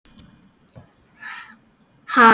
Hann langar þó alltaf heim.